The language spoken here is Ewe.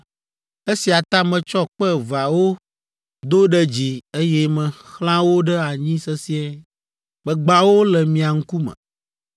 Esia ta metsɔ kpe eveawo do ɖe dzi, eye mexlã wo ɖe anyi sesĩe! Megbã wo le mia ŋkume!